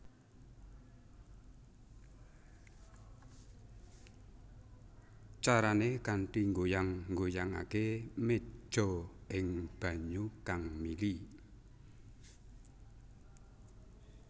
Carané kanthi nggoyang nggoyangaké méja ing banyu kang mili